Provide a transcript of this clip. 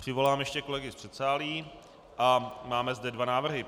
Přivolám ještě kolegy z předsálí a máme zde dva návrhy.